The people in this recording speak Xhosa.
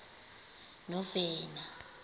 novena